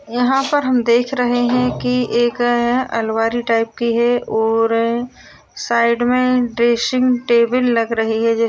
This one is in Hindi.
यहाँ पर हम देख रहे हैं कि एक अलवरी अलमारी टाइप की है और साइड में ड्रेसिंग टेबल लग रही है।